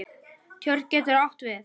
Tjörn getur átt við